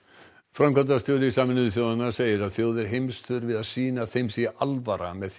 framkvæmdastjóri Sameinuðu þjóðanna segir að þjóðir heims þurfi að sýna að þeim sé alvara með